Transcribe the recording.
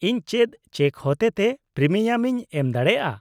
-ᱤᱧ ᱪᱮᱫ ᱪᱮᱠ ᱦᱚᱛᱮ ᱛᱮ ᱯᱨᱤᱢᱤᱭᱟᱢᱤᱧ ᱮᱢ ᱫᱟᱲᱮᱭᱟᱜᱼᱟ ?